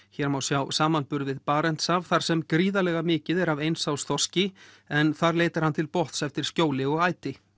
hér má sjá samanburð við Barentshaf þar sem gríðarlega mikið er af eins árs þorski en þar leitar hann til botns eftir skjóli og æti